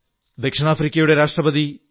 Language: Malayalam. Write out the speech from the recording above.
ദക്ഷിണാഫ്രിക്കൻ പ്രസിഡന്റ് ശ്രീ